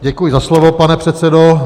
Děkuji za slovo, pane předsedo.